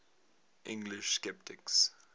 english sceptics